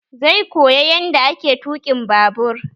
Zai koya yanda ake tuƙin babur